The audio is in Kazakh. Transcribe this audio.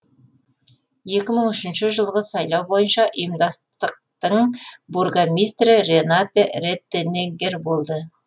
екі мың үшінші жылғы сайлау бойынша ұйымдастықтың бургомистрі ренате реттенеггер болды